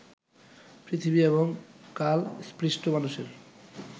পৃথিবী এবং কাল-স্পৃষ্ট মানুষের